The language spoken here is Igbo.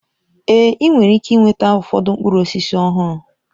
Ee! Ị nwere ike nweta ụfọdụ mkpụrụ osisi ọhụrụ.